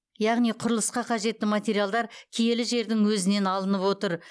яғни құрылысқа қажетті материалдар киелі жердің өзінен алынып отыр